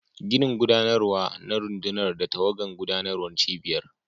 Ginin gudanarwa na rundunar da tawagan gudanarwar cibiyar.